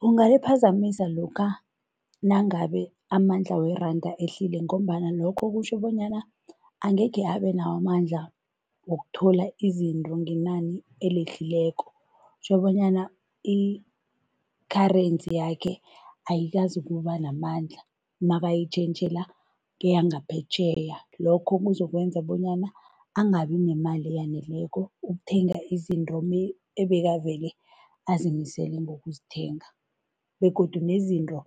Kungaliphazamisa lokha nangabe amandla weranda ehlile ngombana lokho kutjho bonyana angekhe abe nawo amandla wokuthola izinto ngenani elehlileko, kutjho banyana i-currency yakhe ayikazokuba namandla nakayitjhentjhela keyangaphetjheya. Lokho kuzokwenza bonyana angabi nemali eyaneleko ukuthenga izinto ebekavele azimisele ngokuzithenga begodu nezinto